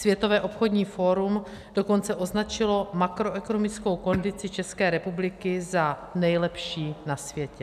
Světové obchodní fórum dokonce označilo makroekonomickou kondici České republiky za nejlepší na světě.